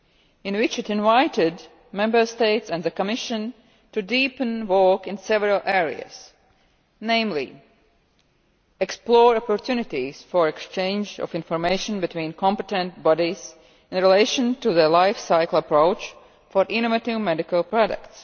in which it invited Member States and the Commission to deepen work in several areas, namely to explore opportunities for exchange of information between competent bodies in relation to the life cycle approach' for innovative medicinal products.